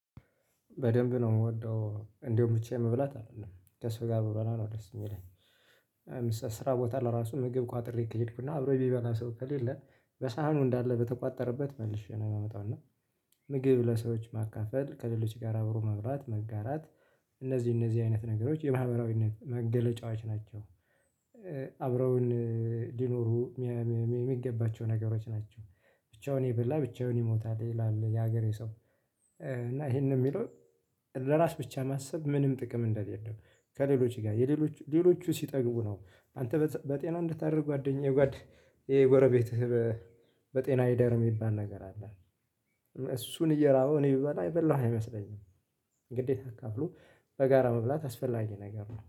በደንብ ነው የምወደው እንደውም ብቻዬን መብላት አይደለም ከሰው ጋር ብበላ ነው ደስ የሚለኝ። ስራ ቦታ ለራሱ ምግብ ቋጥሬ ከሄድኩና አብሮኝ ሚቢበላ ሰው ከሌለ በሳህኑ እንዳለ በተቋጠረበት መልሼ ነው የማመጣው። እና ምግብ ለሰዎች ማካፈል ከሌሎች ጋር አብሮ መብራት መጋራት እነዚህ እነዚህ አይነት ነገሮች የማህበራዊነት መገለጫዋች ናቸው። አብረውን ሊኖሩ የሚገባቸው ነገሮች ናቸው። ብቻውን የበላ ብቻውን ይሞታል ይላል የሀገሬ ሰው። እና ይሄንን የሚለው ለራስ ብቻ ማሰብ ምንም ጥቅም እንደሌለው ከሌሎች ጋር የሌሎች ሌሎቹ ሲጠግቡ ነው። አንተ በጤና እንድታደርግ ጓደኛዬ ጎረቤትህ በጤና ይደርም የሚባል ነገር አለ። እሱን እየራበው እኔ ብበላ በላሁ አይመስለኝም። ግዴታ አካፍሎ በጋራ መብላት አስፈላጊ ነገር ነው